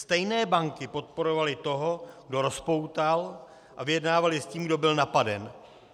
Stejné banky podporovaly toho, kdo rozpoutal, a vyjednávaly s tím, kdo byl napaden.